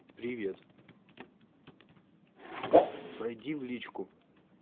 привет пройди в личку